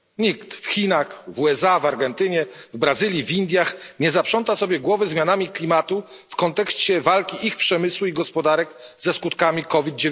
Nikt w Chinach, w USA, w Argentynie, w Brazylii, w Indiach nie zaprząta sobie głowy zmianami klimatu w kontekście walki ich przemysłu i gospodarek ze skutkami COVID